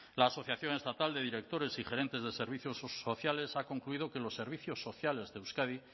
la asociación estatal de directores y gerentes de servicios sociales ha concluido que los servicios sociales de euskadi